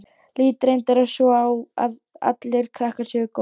Lít reyndar svo á að allir krakkar séu góðir.